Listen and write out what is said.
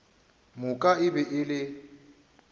moka e be e le